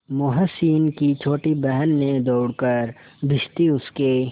मोहसिन की छोटी बहन ने दौड़कर भिश्ती उसके